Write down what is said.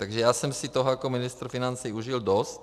Takže já jsem si toho jako ministr financí užil dost.